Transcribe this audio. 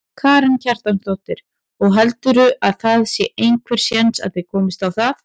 Karen Kjartansdóttir: Og heldurðu að það sé einhver séns að þið komist á það?